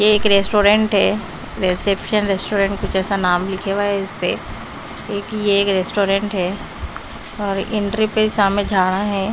ये एक रेस्टोरेंट है रिसेप्शन रेस्टोरेंट कुछ ऐसा नाम लिखा हुआ है इस पे एक ये एक रेस्टोरेंट है और एंट्री पे सामने झाड़ा है।